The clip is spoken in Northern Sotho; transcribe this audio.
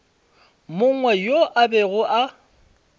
mongwe yo a bego a